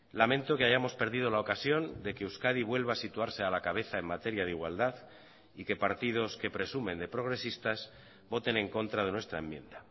lamento que hayamos perdido la ocasión de que euskadi vuelva a situarse a la cabeza en materia de igualdad y que partidos que presumen de progresistas voten en contra de nuestra enmienda